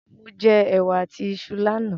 Mo jẹ ẹ̀wà àti iṣu lánà